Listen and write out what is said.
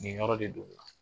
Nin yɔrɔ de don o la